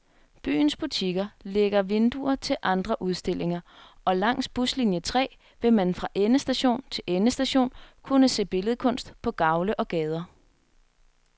Byens butikker lægger vinduer til andre udstillinger, og langs buslinie tre vil man fra endestation til endestation kunne se billedkunst på gavle og gader.